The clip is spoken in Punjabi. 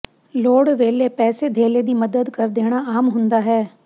ਲੋੜ ਵੇਲੇ ਪੈਸੇ ਧੇਲੇ ਦੀ ਮਦਦ ਕਰ ਦੇਣਾ ਆਮ ਹੁੰਦਾ ਹੈ